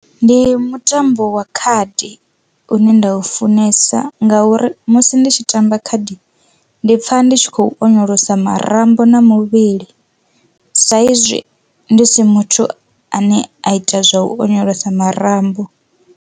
Ndi mutambo wa khadi une nda u funesa ngauri musi ndi tshi tamba khadi ndi pfha ndi tshi khou onyolosa marambo na muvhili sa izwi ndi si muthu ane a ita zwa u onyolosa marambo.